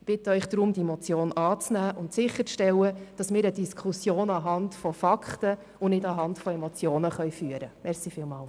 Ich bitte Sie daher, die Motion anzunehmen und sicherzustellen, dass wir die Diskussion auf der Grundlage von Fakten und nicht von Emotionen führen können.